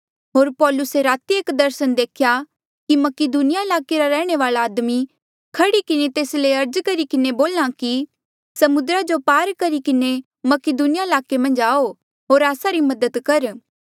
होर पौलुसे राती एक दर्सन देख्या कि मकीदुनिया ईलाके रा रैहणे वाल्आ आदमी खह्ड़ी किन्हें तेस ले अर्ज करी किन्हें बोल्हा कि समुद्रा जो पार करी किन्हें मकीदुनिया ईलाके मन्झ आऊ होर आस्सा री मदद कर